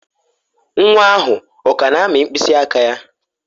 Nwa ahụ ọ ka na-amị mkpịsị aka ya?